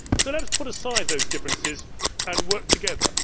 So let us put aside those differences and work together.